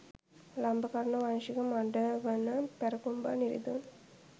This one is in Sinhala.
ලම්බකර්ණ වංශික මඪ වන පැරකුම්බා නිරිඳුන්